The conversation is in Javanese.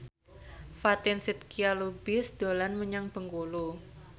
Fatin Shidqia Lubis dolan menyang Bengkulu